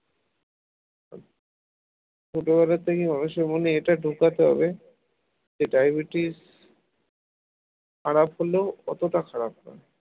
ছোটবেলা থেকে অবশ্যই মনে এটা ঢোকাতে হবে যে diabetes খারাপ হলেও অতটা খারাপ নয়।